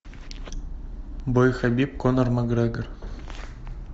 бой хабиб конор макгрегор